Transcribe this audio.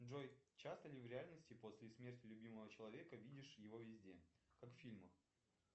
джой часто ли в реальности после смерти любимого человека видишь его везде как в фильмах